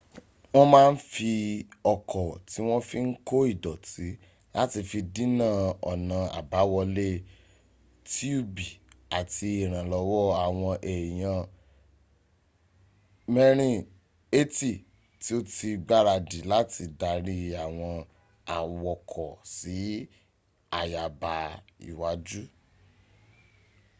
wọ́n m a n fi ọkọ̀ ti won fi n ko ìdọ̀tí láti fi dína ọ̀nà abáwọlé tiubi àti ìrànlọ́wọ́ awon eyan 80 ti o ti gbaradi láti dari àwọn awokọ̀ si àyàbá iwájú